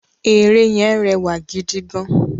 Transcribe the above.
Ère yẹn rẹwà gidi gan